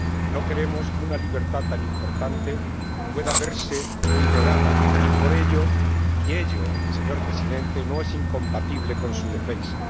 No queremos que una libertad tan importante pueda verse vulnerada, y ello, señor Presidente, no es incompatible con su defensa.